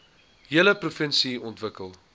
hele provinsie ontwikkel